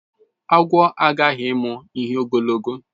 Agwo aghaghị ịmụ ihe ogologo